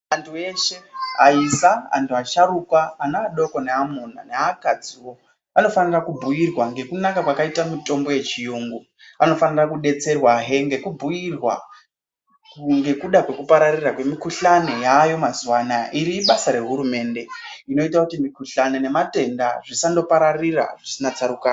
Vantu veshe aisa, antu vasharukwa, ana adoko neaamuna neakadziwo anofanirwa kubhuirwa nekunaka kwakaita mutombo yechiyungu anofanira kudetserwa hee nekubhuirwa ngekuda kwekupararira kwemikhuhlani yaayo mazuwanaya, iri ibasa rehurumende inoita kuti mikhuhlani nematenda zvisandopararira zvisina tsarukano.